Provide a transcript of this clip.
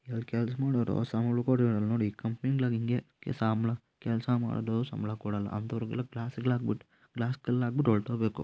ಇಲ್ಲಿ ಕೆಲಸ ಮಾಡುವವರು ಸಂಬಳ ಕೊತ್ತಿರಲ್ಲ ನೋಡು ಈ ಕಂಪೆನಿ ಗಳಲ್ಲಿ ಇನ್ಗೆ ಸಂಬಳ ಕೆಲಸ ಮಾಡು ಸಂಬಳ ಕೊಡಲ್ಲ ಅಂತ ಅವರಿಗೆ ಎಲ್ಲಾ ಗ್ಲಾಸ್ ಗಳು ಹಾಕ್ಬಿಟ್ಟು ಗ್ಲಾಸ್ ಕಲ್ಲು ಹಾಕ್ಬಿಟ್ಟು ಹೊರಟೊಗ್ಬೇಕು.